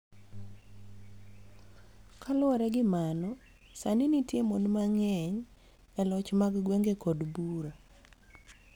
Kaluwore gi mano, sani nitie mon mang�eny e loch mag gwenge kod bura.